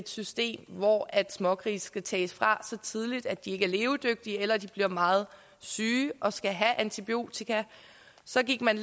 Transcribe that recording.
system hvor smågrise skal tages fra så tidligt at de ikke er levedygtige eller at de bliver meget syge og skal have antibiotika så gik man